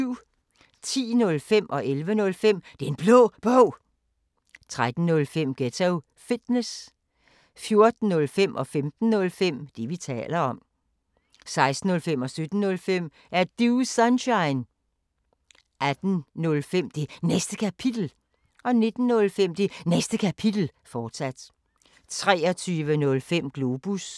10:05: Den Blå Bog 11:05: Den Blå Bog, fortsat 13:05: Ghetto Fitness 14:05: Det, vi taler om 15:05: Det, vi taler om, fortsat 16:05: Er Du Sunshine? 17:05: Er Du Sunshine? 18:05: Det Næste Kapitel 19:05: Det Næste Kapitel, fortsat 23:05: Globus